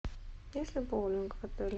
есть ли боулинг в отеле